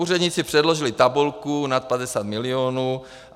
Úředníci předložili tabulku nad 50 milionů.